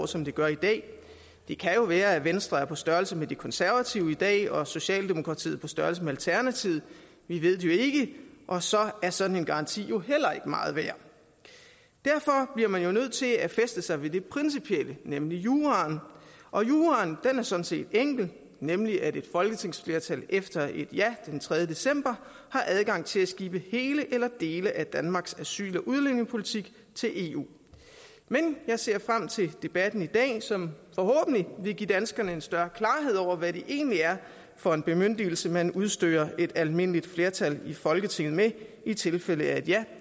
som det gør i dag det kan jo være at venstre er på størrelse med de konservative i dag og at socialdemokratiet er på størrelse med alternativet vi ved det ikke og så er sådan en garanti jo heller ikke meget værd derfor bliver man nødt til at fæstne sig ved det principielle nemlig juraen og juraen er sådan set enkel nemlig at et folketingsflertal efter et ja den tredje december har adgang til at skibe hele eller dele af danmarks asyl og udlændingepolitik til eu men jeg ser frem til debatten i dag som forhåbentlig vil give danskerne en større klarhed over hvad det egentlig er for en bemyndigelse man udstyrer et almindeligt flertal i folketinget med i tilfælde af et ja